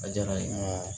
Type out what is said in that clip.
A diyara n ye